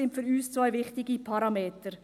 Dies sind für uns zwei wichtige Parameter.